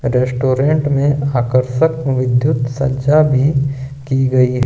Restaurant में आकर्षक विधुत संचार भी की गई है।